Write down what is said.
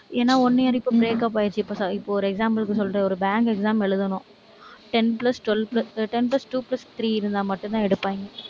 ஏன்னா one year இப்ப breakup ஆயிருச்சு, இப்ப. இப்ப, ஒரு example க்கு சொல்றேன். ஒரு bank exam எழுதணும். ten plus, twelve, ten plus two plus three இருந்தா மட்டும்தான் எடுப்பாங்க